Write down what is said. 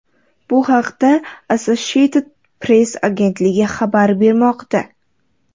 Bu haqda Associated Press agentligi xabar bermoqda.